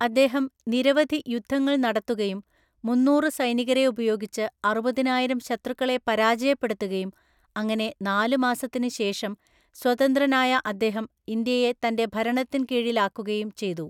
അദ്ദേഹം നിരവധി യുദ്ധങ്ങൾ നടത്തുകയും മുന്നൂറു സൈനികരെ ഉപയോഗിച്ച് അറുപതിനായിരം ശത്രുക്കളെ പരാജയപ്പെടുത്തുകയും അങ്ങനെ നാല് മാസത്തിന് ശേഷം സ്വതന്ത്രനായ അദ്ദേഹം ഇന്ത്യയെ തന്റെ ഭരണത്തിൻ കീഴിലാക്കുകയും ചെയ്തു.